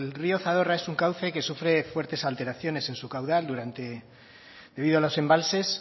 río zadorra es un cauce que sufre fuertes alteraciones en su caudal debido a los embalses